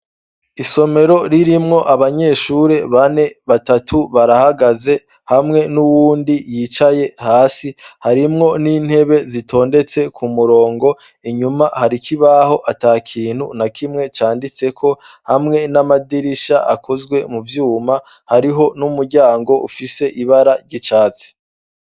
Isomero ririmwo abanyeshuri bane, batatu barahagaze hamwe n'uwundi yicaye hasi harimwo n'intebe zitondetse ku murongo, inyuma hari ikibaho ata kintu na kimwe canditseko hamwe n'amadirisha akozwe mu vyuma, hariho n'umuryango ufise ibara ry'icatsi.